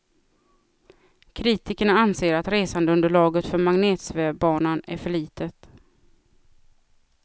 Kritikerna anser, att resandeunderlaget för magnetsvävbanan är för litet.